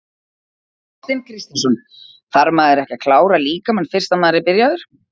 Kristinn Kristinsson: Þarf maður ekki að klára líkamann fyrst að maður er byrjaður?